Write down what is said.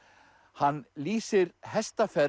hann lýsir hestaferð